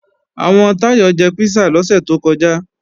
Àwọn Táyọ̀ jẹ písà lọ́sẹ̀ tó kọjá